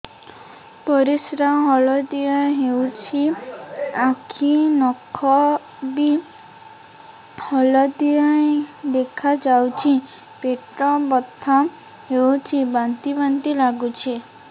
ପରିସ୍ରା ହଳଦିଆ ହେଉଛି ଆଖି ନଖ ବି ହଳଦିଆ ଦେଖାଯାଉଛି ପେଟ ବଥା ହେଉଛି ବାନ୍ତି ବାନ୍ତି ଲାଗୁଛି